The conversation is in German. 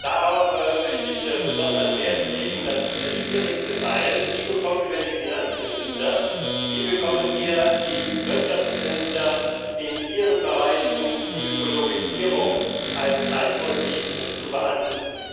Darauf möchte ich besonderen Wert legen. Das ist der schwierigste Teil Wie bekommen wir die Finanzminister, wie bekommen wir die Wirtschaftsminister in ihren Bereichen dazu, die Ökologisierung als Leitmotiv zu behandeln?